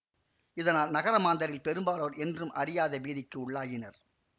இதனால் நகர மாந்தரில் பெரும்பாலோர் என்றும் அறியாத பீதிக்கு உள்ளாயினர்